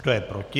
Kdo je proti?